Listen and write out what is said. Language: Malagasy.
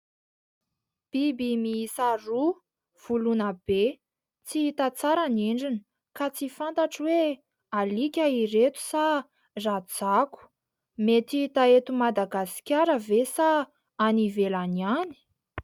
Biby miisa roa ; voloina be, tsy hita tsara ny endriny ka tsy fantatro hoe : alika ireto sa rajako ? Mety hita eto Madagasikara ve sa any ivelany any...